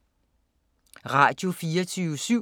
Radio24syv